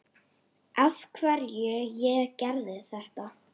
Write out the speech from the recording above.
Af hverju ég gerði þetta.